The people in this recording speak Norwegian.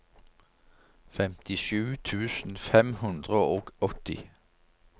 femtisju tusen fem hundre og åtti